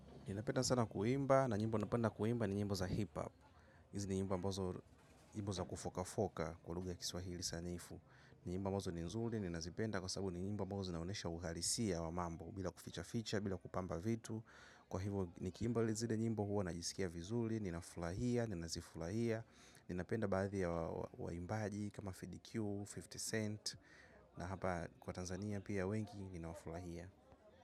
Ninapenda sana kuimba na nyimbo napenda kuimba ni nyimbo za hip-hop. Nyimbo ambazo nyimbo za kufokafoka kwa lugha ya kiswahili sanifu. Nyimbo ambazo ni nzuri, ninazipenda kwa sababu ni nyimbo ambazo zinaonesha uhalisia wa mambo. Bila kuficha-ficha, bila kupamba vitu. Kwa hivyo nikiimba li zile nyimbo huwa najisikia vizuri, ninafurahia, ninazifurahia. Ninapenda baadhi waimbaji kama FDQ, hamsini Cent. Na hapa kwa Tanzania pia wengi, ninafurahia.